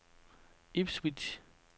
Ipswich